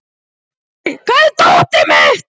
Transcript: Laugey, hvar er dótið mitt?